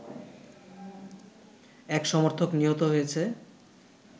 এক সমর্থক নিহত হয়েছে